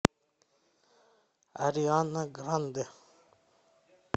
ариана грандэ